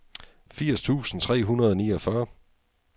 firs tusind tre hundrede og niogfyrre